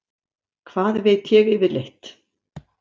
Hvað veit ég yfirleitt?